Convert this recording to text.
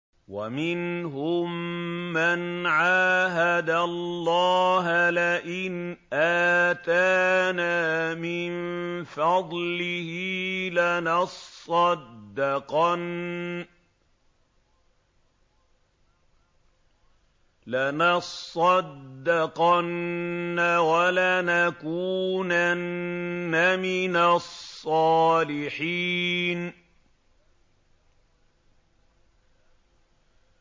۞ وَمِنْهُم مَّنْ عَاهَدَ اللَّهَ لَئِنْ آتَانَا مِن فَضْلِهِ لَنَصَّدَّقَنَّ وَلَنَكُونَنَّ مِنَ الصَّالِحِينَ